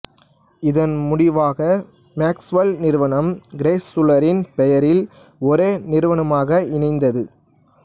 இதன் முடிவாக மேக்ஃசுவெல் நிறுவனம் கிரைசுலரின் பெயரில் ஒரே நிறுவனமாக இணைந்தது